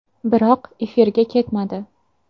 Biroq efirga ketmadi.